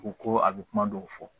U ko ko a bɛ kuma dɔw fɔ